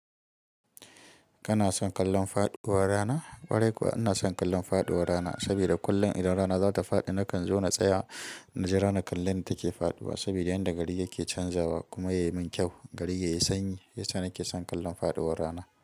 Kana son kallon faɗuwar rana? Ƙwarai kuwa ina son kallon faɗuwar rana saboda kullum idan rana za ta faɗi nakan zo na tsaya na ji ranar kallai da take faɗiwa saboda inda gari yake canzawa kuma ya yi min kyau. Gari yayi sanyi yasa nake son kallon faɗuwar rana.